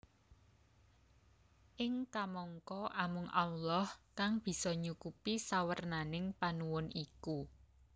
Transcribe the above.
Ing kamangka amung Allah kang bisa nyukupi sawernaning panuwun iku